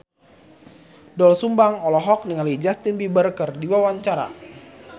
Doel Sumbang olohok ningali Justin Timberlake keur diwawancara